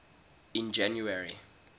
in january